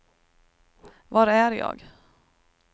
var är jag